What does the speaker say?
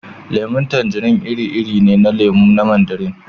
Lemun tanjirin iri-iri ne na lemu na Mandarin